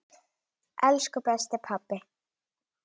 Elsku besti pabbi.